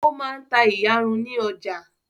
Ó máa ta ìyarun lọ́jà.